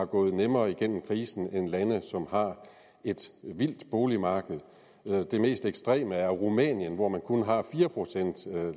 gået nemmere gennem krisen end lande som har et vildt boligmarked det mest ekstreme er rumænien hvor man kun har fire procent